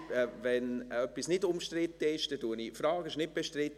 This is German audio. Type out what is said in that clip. Wenn etwas nicht umstritten ist, dann frage ich: «Ist es nicht bestritten?»